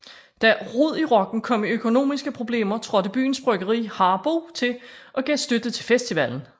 Da Rod i Rocken kom i økonomiske problemer trådte byens bryggeri Harboe til og gav støtte til festivalen